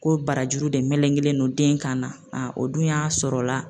Ko barajuru de melegelen don den kan na o dun y'a sɔrɔ la